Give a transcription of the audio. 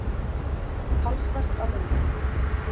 Talsvert af myndum.